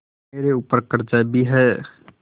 मेरे ऊपर कर्जा भी है